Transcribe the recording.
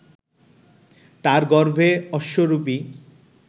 তার গর্ভে অশ্বরূপী